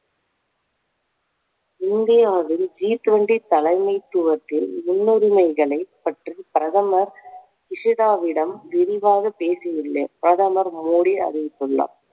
இந்தியாவில் G twenty தலைமைத்துவத்தில் முன்னுரிமைகளை பற்றி பிரதமர் சுஷிதாவிடம் விரிவாக பேசியுள்ளேன் பிரதமர் மோடி அறிவித்துள்ளார்